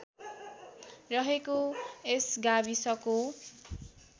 रहेको यस गाविसको